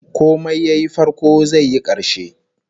Komai yayi farko zai yi karshe